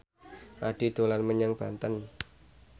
Addie dolan menyang Banten